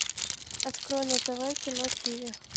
открой на тв кино тв